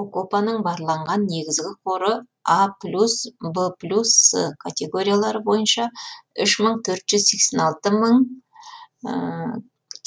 опоканың барланған негізгі қоры а плюс в плюс с категориялары бойынша үш мың төрт жүз сексен алты мың